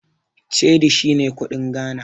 Cedi shine kuɗin Ghana.